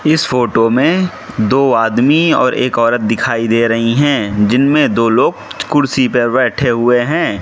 इस फोटो में दो आदमी और एक औरत दिखाई दे रहीं हैं जिनमें दो लोग कुर्सी पर बैठे हुए हैं।